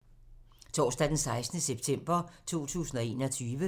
Torsdag d. 16. september 2021